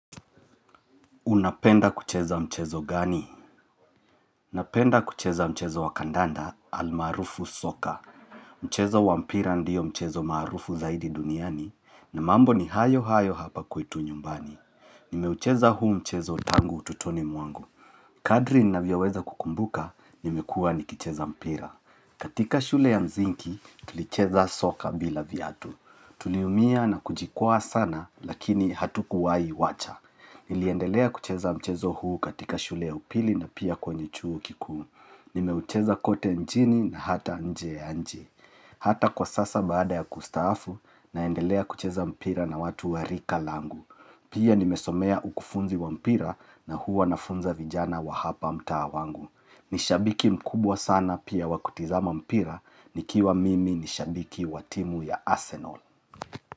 Unapenda kucheza mchezo gani? Unapenda kucheza mchezo wakandanda almaarufu soka. Mchezo wampira ndiyo mchezo marufu zaidi duniani na mambo ni hayo hayo hapa kwetu nyumbani. Nimeucheza huu mchezo tangu ututoni mwangu. Kadri nina vyaweza kukumbuka nimekua nikicheza mpira. Katika shule ya mzingi tulicheza soka bila viatu. Tuliumia na kujikwaa sana lakini hatuku wai wacha. Niliendelea kucheza mchezo huu katika shule ya upili na pia kwenye chuo kiku Nimeucheza kote nchini na hata nje ya nchi Hata kwa sasa baada ya kustafu naendelea kucheza mpira na watu warika langu Pia nimesomea ukufunzi wa mpira na hu wanafunza vijana wa hapa mta wangu Nishabiki mkubwa sana pia wakutizama mpira nikiwa mimi nishabiki watimu ya Arsenal.